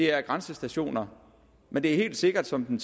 er grænsestationer men det er helt sikkert som den